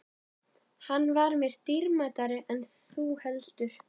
Hann var mér dýrmætari en þú heldur.